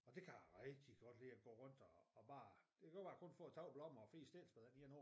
Og det kan jeg rigtig godt lide at gå rundt og og bare det kan godt være jeg kun får 3 blommer og 4 stikkelsbær når der lige er nogen